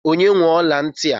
Onye nwe ọla ntị a?